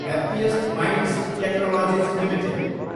happiest minds technologies Ltd